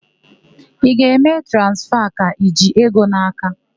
Ị ga-eme transfa ka i ji ego n'aka?